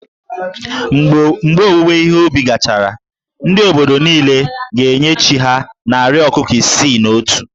Mgbe owuwe ihe ubi gachara, ndị obodo niile ga-enye chí ha narị ọkụkọ isii na otu